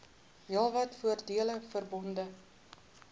heelwat voordele verbonde